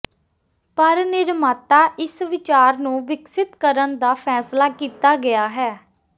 ਪਰ ਨਿਰਮਾਤਾ ਇਸ ਵਿਚਾਰ ਨੂੰ ਵਿਕਸਤ ਕਰਨ ਦਾ ਫੈਸਲਾ ਕੀਤਾ ਗਿਆ ਹੈ